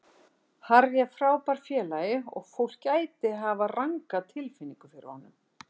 Harry er frábær félagi og fólk gæti hafa ranga tilfinningu fyrir honum.